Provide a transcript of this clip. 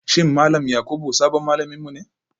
Shin Malam Yakubu sabon malaminmu ne